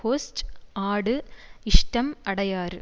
host ஆடு இஷ்டம் அடையாறு